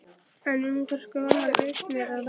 En um hvers konar eignir er að ræða?